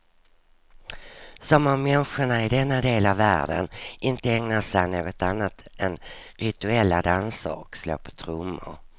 Som om människorna i denna del av världen inte ägnar sig åt något annat än rituella danser och slå på trummor.